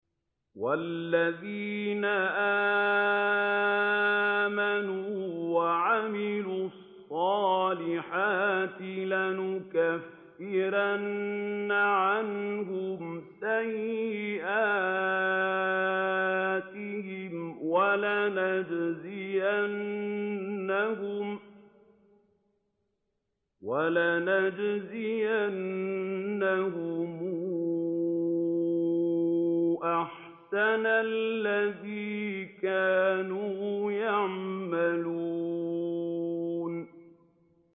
وَالَّذِينَ آمَنُوا وَعَمِلُوا الصَّالِحَاتِ لَنُكَفِّرَنَّ عَنْهُمْ سَيِّئَاتِهِمْ وَلَنَجْزِيَنَّهُمْ أَحْسَنَ الَّذِي كَانُوا يَعْمَلُونَ